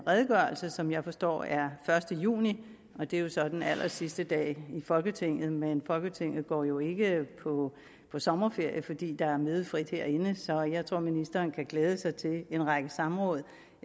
redegørelse som jeg forstår er første juni og det er jo så den allersidste dag i folketinget men folketinget går jo ikke på på sommerferie fordi der er mødefrit herinde så jeg tror ministeren kan glæde sig til en række samråd